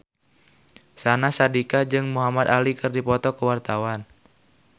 Syahnaz Sadiqah jeung Muhamad Ali keur dipoto ku wartawan